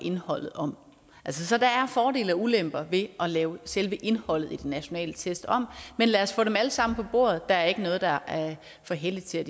indholdet om så der er fordele og ulemper ved at lave selve indholdet i de nationale test om men lad os få dem alle sammen på bordet der er ikke noget der er for helligt til